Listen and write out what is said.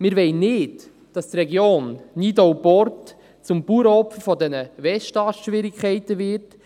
Wir wollen nicht, dass die Region Nidau-Port zum Bauernopfer der Westast-Schwierigkeiten wird.